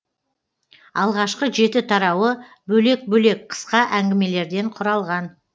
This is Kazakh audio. алғашқы жеті тарауы бөлек бөлек қысқа әнгімелерден құралған